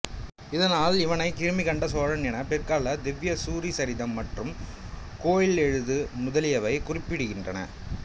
இதனால்இவனை கிருமி கண்ட சோழன் என பிற்கால திவ்ய சூரிசரிதம் மற்றும் கோயிலொழுகு முதலியவை குறிப்பிடுகின்றன